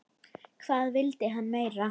Hvað vildi hann meira?